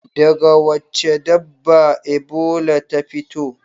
Daga wacce dabba Ebola ta fito?